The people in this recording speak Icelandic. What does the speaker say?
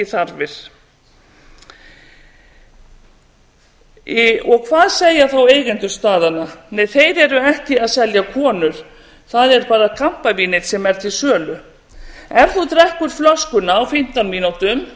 þarfir hvað segja þá eigendur staðanna nei þeir eru ekki að selja konur það er bara kampavínið sem er til sölu ef þú drekkur flöskuna á fimmtán mínútum